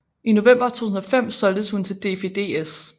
I november 2005 solgtes hun til DFDS